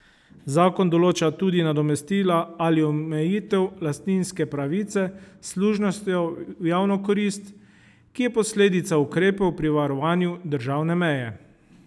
Zakon določa tudi nadomestila ali omejitev lastninske pravice s služnostjo v javno korist, ki je posledica ukrepov pri varovanju državne meje.